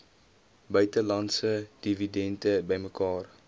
buitelandse dividende bymekaar